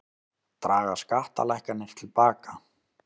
Draga skattalækkanir til baka